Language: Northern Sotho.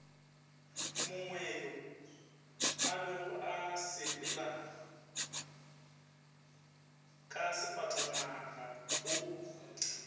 mongweyo abego a sepelaka sefatanagao